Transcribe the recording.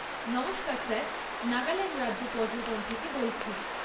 নমস্কার স্যার! নাগাল্যান্ড রাজ্য পর্যটন থেকে বলছি।